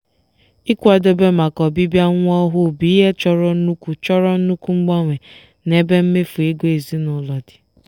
ikwadebe maka ọbịbịa nwa ọhụụ bụ ihe chọrọ nnukwu chọrọ nnukwu mgbanwe n'ebe mmefu ego ezinụlọ dị.